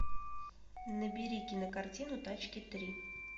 набери кинокартину тачки три